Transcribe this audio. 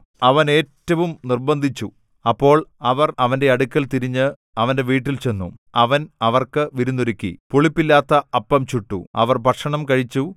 അവൻ ഏറ്റവും നിർബന്ധിച്ചു അപ്പോൾ അവർ അവന്റെ അടുക്കൽ തിരിഞ്ഞു അവന്റെ വീട്ടിൽ ചെന്നു അവൻ അവർക്ക് വിരുന്നൊരുക്കി പുളിപ്പില്ലാത്ത അപ്പം ചുട്ടു അവർ ഭക്ഷണം കഴിച്ചു